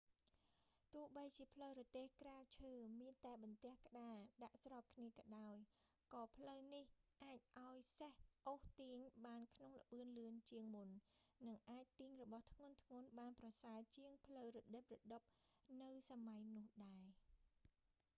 ទោះបីជាផ្លូវរទេះក្រាលឈើ មានតែបន្ទះក្ដារដាក់ស្របគ្នាក៏ដោយ ក៏ផ្លូវនេះអាចឱ្យសេះអូសទាញបានក្នុងល្បឿនលឿនជាងមុន និងអាចទាញរបស់ធ្ងន់ៗបានប្រសើរជាងផ្លូវរដឹបរដុបនៅសម័យទោះដែរ